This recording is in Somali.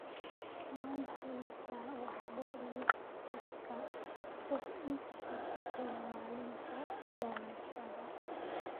Wan haystaa waxbo liisaska wax iibsiga ee malinta dhalashada